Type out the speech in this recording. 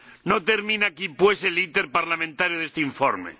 No termina aquí pues el iter parlamentario de este informe.